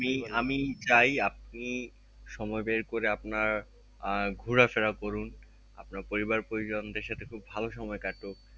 আমি আমি যাই আপনি সময় বের করে আপনার আহ ঘোড়া ফেরা করুন আপনার পরিবার পরিজন দেড় সাথে খুব ভালো সময় কাটুক